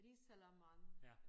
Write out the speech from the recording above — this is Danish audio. Risalamande